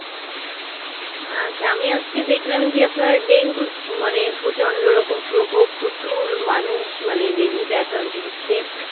আচ্ছা আমি আজকে দেখলাম যে আপনার ডেঙ্গুর মানে প্রচন্ড রকম প্রকোপ প্রচুর মানুষ মানে ডেঙ্গুতে আক্রান্ত হচ্ছে